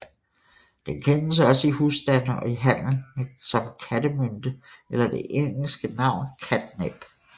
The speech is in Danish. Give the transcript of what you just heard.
Den kendes også i husstande og i handel som kattemynte eller det engelske navn catnip